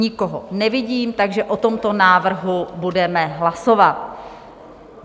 Nikoho nevidím, takže o tomto návrhu budeme hlasovat.